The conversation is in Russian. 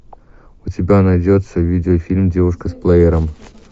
у тебя найдется видео фильм девушка с плеером